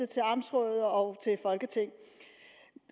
til amtsråd og folketing